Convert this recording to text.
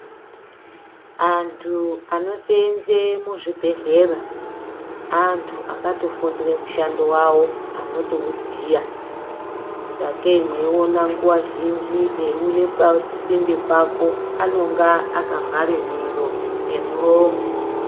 Antu anoseenze muzvibhedhlera, antu akatofundire mushando wavo anotouziya, sakei mweiona nguwa zhinji eiuye pasinde pako, anonga akavhare miro ngemuromo.